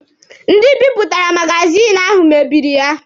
Ndị bipụtara magazini ahụ mebiri ya